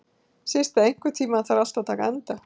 Systa, einhvern tímann þarf allt að taka enda.